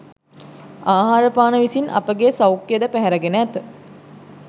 ආහාරපාන විසින් අපගේ සෞඛ්‍යය ද පැහැරගෙන ඇත.